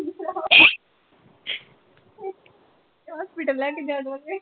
hospital ਲੈ ਕੇ ਜਾਵਾਂਗੇ